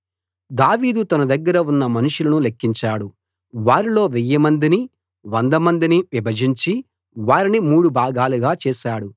దావీదు తన దగ్గర ఉన్న మనుషులను లెక్కించాడు వారిలో వెయ్యిమందిని వందమందిని విభజించి వారిని మూడు భాగాలుగా చేశాడు